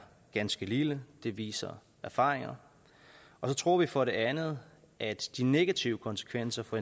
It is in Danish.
ganske lille det viser erfaringer og så tror vi for det andet at de negative konsekvenser for